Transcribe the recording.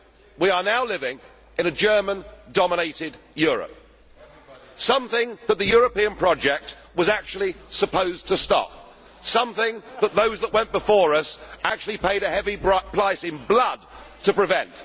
We are now living in a German dominated Europe something that the European project was actually supposed to stop, and something that those that went before us actually paid a heavy price in blood to prevent.